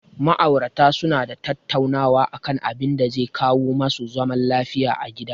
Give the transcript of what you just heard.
Ma'aurata su na tattaunawa a kan abinda zai kawo ma su zaman lafiya a gida